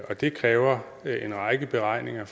og det kræver en række beregninger